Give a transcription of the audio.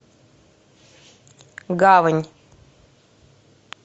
гавань